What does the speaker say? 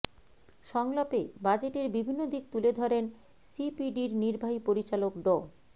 সংলাপে বাজেটের বিভিন্ন দিক তুলে ধরেন সিপিডির নির্বাহী পরিচালক ড